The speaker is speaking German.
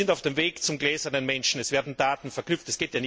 Wir sind auf dem Weg zum gläsernen Menschen, es werden Daten verknüpft.